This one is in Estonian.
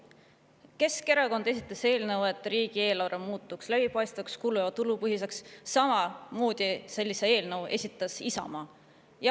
Keskerakond esitas eelnõu, et riigieelarve muutuks läbipaistvaks, kulu- ja tulupõhiseks, samamoodi esitas sellise eelnõu Isamaa.